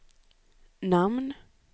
namn